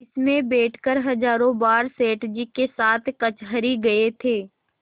इसमें बैठकर हजारों बार सेठ जी के साथ कचहरी गये थे